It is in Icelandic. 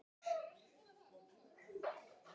Þar fór einn slagur.